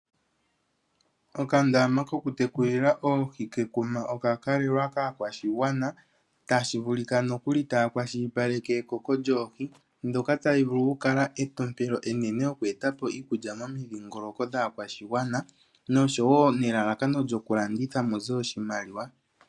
Okandama ko kutekulila oohi kekuma oka kalelwa kaakwashigwana. Tashi vulika nokuli ta yakwashilipaleke ekoko lyoohi ndhoka tadhi vulu okukala etompelo enene oku etapo iikulya momidhingoloko dhaakwashigwana nosho wo elalakano lyokulandith muze oshimaliwa.